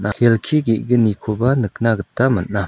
kelki ge·gnikoba nikna gita man·a.